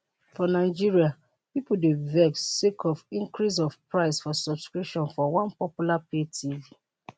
for nigeria pipo dey vex sake of increase for price of subscription for one popular pay tv